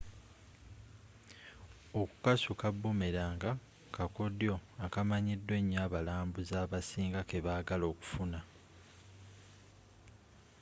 okukasuka bumelanga kakodyo akamanyikiddwa enyo abalambuuzi abasinga kebagala okufuna